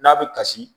N'a bɛ kasi